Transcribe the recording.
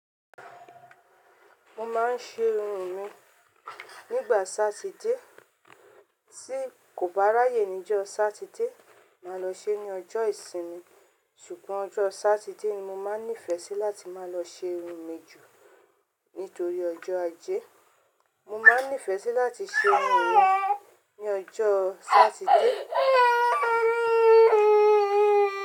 Mo máa ń ṣe irun mi nígbà Satide. Tí kò bá ráyè ní ọjọ́ Satide, máa lọ ṣe ní ọjọ́ ìsinmi. Ṣùgbọ́n ọjọ́ Satide ni mo máa ń nífẹ̀ẹ́ sí láti máa lọ ṣe irun mi jù. Nítorí ọjọ́ Ajé. Mo máa ń nífẹ̀ẹ́ láti ṣe irun mi ní ọjọ́ Satide.